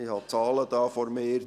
Ich habe die Zahlen hier vor mir.